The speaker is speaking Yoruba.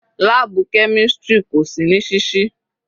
Láàbù chemistry kò sí ní sísí.